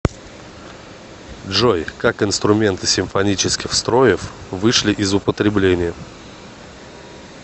джой как инструменты симфонических строев вышли из употребления